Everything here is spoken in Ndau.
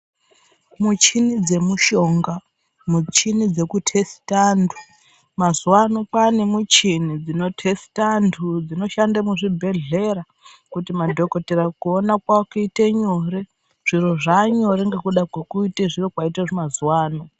Muchini dzemushonga, muchini dzeku tesita antu. Mazuwa ano kwaane michini dzino tesita antu dzino shande muzvibhedhlera kuti madhokodheya kuona kwavo kuite nyore. Zviro zvaa nyore ngekuda kwekuite zviro kwaite mazuwa ano.